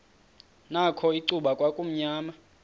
nakho icuba kwakumnyama